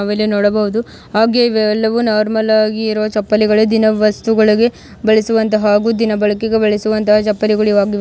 ನಾವು ಇಲ್ಲಿ ನೋಡಬಹುದು ಹಾಗೆ ಇವೆಲ್ಲವೂ ನಾರ್ಮಲ್ ಹಾಗಿ ಇರುವ ಚಪ್ಪಲಿಗಳೆ ದಿನ ವಸ್ತುಗಳಿಗೆ ಬಳಿಸುವಂತ ಹಾಗೂ ದಿನ ಬಳಿಕೆಗೆ ಬಳಿಸುವಂತ ಚಪ್ಪಲಿಗಳು ಇವು ಆಗಿವೆ.